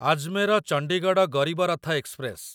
Ajmer Chandigarh Garib Rath express